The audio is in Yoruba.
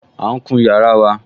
À ún kun yàrá wa